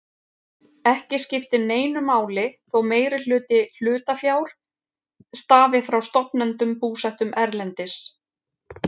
Ekki skiptir neinu máli þótt meirihluti hlutafjár stafi frá stofnendum búsettum erlendis.